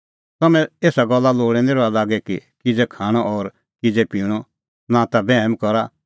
तम्हैं एसा गल्ला लोल़ै निं रहा लागी कि किज़ै खाणअ और किज़ै पिणअ नां ता बैहम करा